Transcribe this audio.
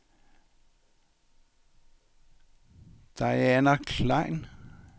Diana Klein